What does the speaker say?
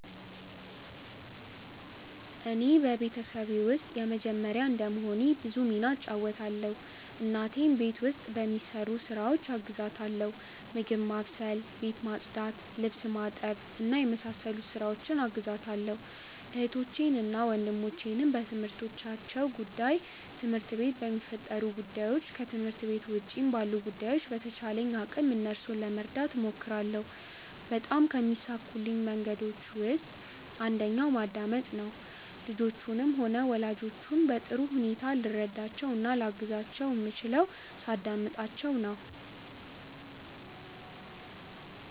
እኔ በቤተሰቤ ውስጥ የመጀመርያ እንደመሆኔ ብዙ ሚና እጫወታለው። እናቴን ቤት ውስጥ በሚሰሩ ስራዎች አግዛታለው ምግብ ማብሰል፣ ቤት ማጽዳት፣ ልብስ በማጠብ እና በመሳሰሉት ስራዎች አግዛታለሁ። እህቶቼንና ወንድሞቼንም በትምህርታቸው ጉዳይ፣ ትምህርት ቤት በሚፈጠሩ ጉዳዮች፣ ከትምህርት ቤት ውጪ ባሉ ጉዳዮች በተቻለኝ አቅም እነርሱን ለመርዳት እሞክራለው። በጣም ከሚሳኩልኝ መንገዶች ውስጥ አንደኛው ማዳምጥ ነው። ልጆቹንም ሆነ ወላጆቼን በጥሩ ሁኔታ ልረዳቸው እና ላግዛቸው ምችለው ሳዳምጣቸው ነው።